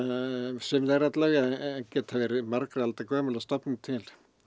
sum þeirra alla vega geta verið margra alda gömul að stofni til